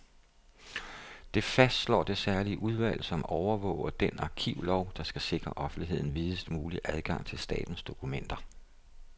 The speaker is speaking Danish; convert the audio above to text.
Det fastslår det særlige udvalg, som overvåger den arkivlov, der skal sikre offentligheden videst mulig adgang til statens dokumenter.